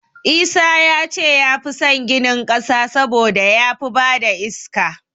Isa ya ce ya fi san ginin ƙasa saboda ya fi ba da iska.